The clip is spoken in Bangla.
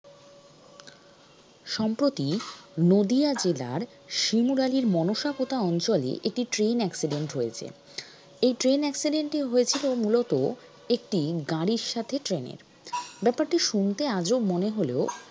সম্প্রতি নদীয়া জেলার শিমুরালীর মনসা পোতা অঞ্চলে একটি train accident হয়েছে এই train accident টি হয়েছিল মূলত একটি গাড়ির সাথে train এর ব্যাপারটি শুনতে আজব মনে হলেও